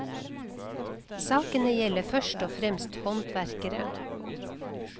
Sakene gjelder først og fremst håndverkere.